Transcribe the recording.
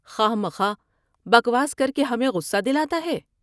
خواہ مخواہ بکواس کر کے ہمیں غصہ دلاتا ہے ۔